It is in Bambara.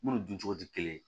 Munnu duncogo ti kelen ye